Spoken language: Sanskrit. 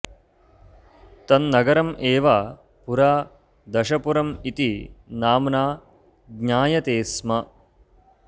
तन्नगरम् एव पुरा दशपुरम् इति नाम्ना ज्ञायते स्म